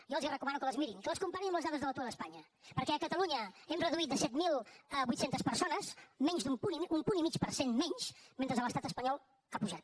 jo els recomano que les mirin que les comparin amb les dades de l’atur a espanya perquè a catalunya hem reduït de set mil vuit cents persones un punt i mig per cent menys mentre que a l’estat espanyol ha pujat